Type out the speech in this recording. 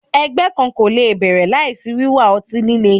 Ẹgbẹ kan ko le bẹrẹ laisi wiwa ọti-lile